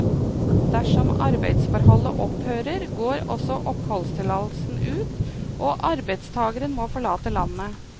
Dersom arbeidsforholdet opphører, går også oppholdstillatelsen ut og arbeidstageren må forlate landet.